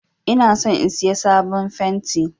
Ina son in Siya sabon fenti.